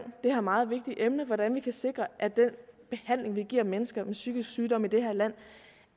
det her meget vigtige emne nemlig hvordan vi kan sikre at den behandling vi giver mennesker med psykisk sygdom i det her land